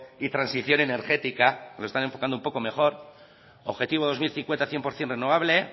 y transición energética lo están enfocando un poco mejor objetivo dos mil cincuenta cien por ciento renovable